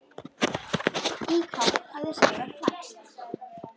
Í hvað hafði Sævar flækst?